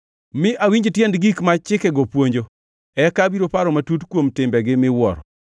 Mi awinj tiend gik ma chikegi puonjo; eka abiro paro matut kuom timbegi miwuoro.